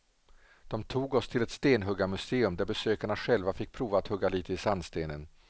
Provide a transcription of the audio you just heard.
De tog oss till ett stenhuggarmuseum där besökarna själva fick prova att hugga lite i sandstenen.